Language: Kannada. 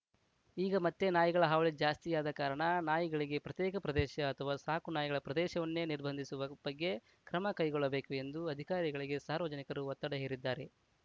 ಈಗ ಮತ್ತೆ ನಾಯಿಗಳ ಹಾವಳಿ ಜಾಸ್ತಿಯಾದ ಕಾರಣ ನಾಯಿಗಳಿಗೆ ಪ್ರತ್ಯೇಕ ಪ್ರದೇಶ ಅಥವಾ ಸಾಕು ನಾಯಿಗಳ ಪ್ರದೇಶವನ್ನೇ ನಿರ್ಬಂಧಿಸುವ ಬಗ್ಗೆ ಕ್ರಮ ಕೈಗೊಳ್ಳಬೇಕು ಎಂದು ಅಧಿಕಾರಿಗಳಿಗೆ ಸಾರ್ವಜನಿಕರು ಒತ್ತಡ ಹೇರಿದ್ದಾರೆ